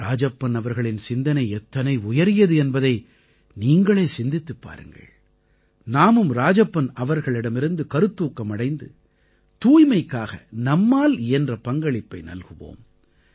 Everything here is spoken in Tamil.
ராஜப்பன் அவர்களின் சிந்தனை எத்தனை உயரியது என்பதை நீங்களே சிந்தித்துப் பாருங்கள் நாமும் ராஜப்பன் அவர்களிடமிருந்து கருத்தூக்கம் அடைந்து தூய்மைக்காக நம்மால் இயன்ற பங்களிப்பை நல்குவோம்